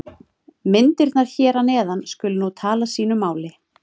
Myndirnar hér að neðan skulu nú tala sínu máli.